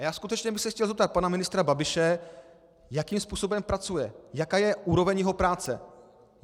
A já skutečně bych se chtěl zeptat pana ministra Babiše, jakým způsobem pracuje, jaká je úroveň jeho práce.